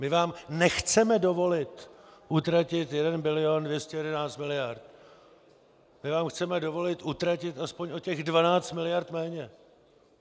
My vám nechceme dovolit utratit 1 bilion 211 miliard, my vám chceme dovolit utratit aspoň o těch 12 miliard méně!